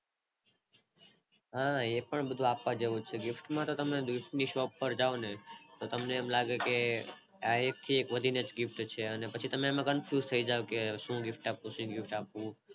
હા હા એ બધું પણ આપવા જેવું છે gift માં તો તમે દેશ ની shop પર જાવ ને તો તમને એમ લાગે કે આ એક થી એક વધી ને gift છે અને પછી તેમાં તમે Kan fuse થઈ જાવ કે શું gift આપવું શું gift આપવું